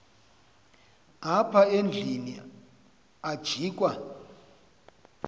apha endlwini ajikwa